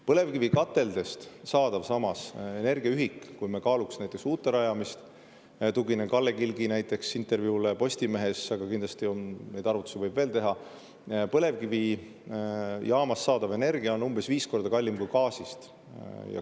Põlevkivikateldest saadav energia, kui me kaaluksime näiteks uute rajamist – tuginen Kalle Kilgi intervjuule Postimehes, aga kindlasti neid arvutusi võib veel teha –, on umbes viis korda kallim kui gaasist saadav energia.